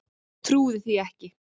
Trúði því ekki.